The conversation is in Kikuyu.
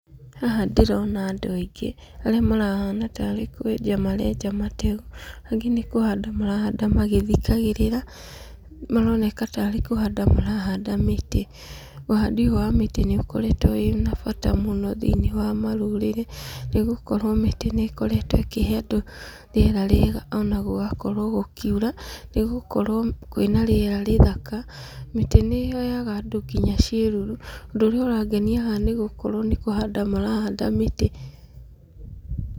Haha ndĩrona andũ aingĩ, arĩa marahana tarĩ kwenja marenja mateu, angĩ nĩ kũhanda marahanda magĩthikagĩrĩra, maroneka tarĩ kũhanda marahanda mĩtĩ. Ũhandi ũyũ wa mĩtĩ nĩ ũkoretwo wĩna bata mũno thĩiniĩ wa marũrĩrĩ, nĩ gũkorwo mĩtĩ nĩ ĩkoretwo ĩkĩhe andũ rĩera rĩega ona gũgakorwo gũkiura, nĩ gũkorwo kwĩna rĩera rĩthaka. Mĩtĩ nĩ ĩheaga andũ nginya ciĩruru. Ũndũ ũrĩa ũrangenia haha nĩ gũkorwo nĩ kũhanda marahanda mĩtĩ.